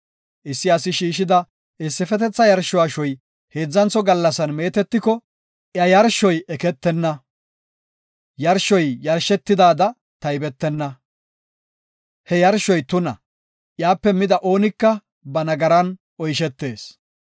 Issi asi shiishida issifetetha yarsho ashoy heedzantho gallasan meetetiko iya yarshoy eketenna; yarshoy yarshetidada taybetenna. He yarshoy tuna; iyape mida oonika ba nagaran oyshetees.